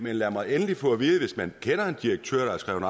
lad mig endelig få at vide hvis man kender en direktør der er skrevet